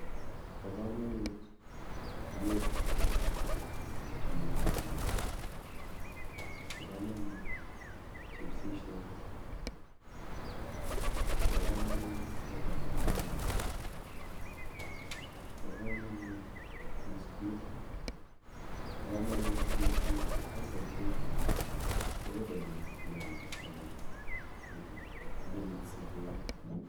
Po kamanut ng'wek chutok che nyolilen po kamanut chipsishek po kamanut chapati mayai po kamanut biscuit po kamanut keki hasa keki kobaibochin lakok keamei betut nekikisikei